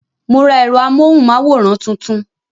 Mo ra èrò amóhùn máwòrán tuntun